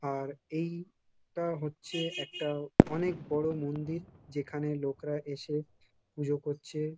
আর এই টা হচ্ছে একটা অনেক বড়ো মন্দির। যেখানে লোকরা এসে পুজো করছে।